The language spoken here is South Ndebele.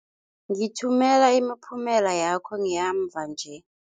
Ngithumela imiphumela yakho yamva nje.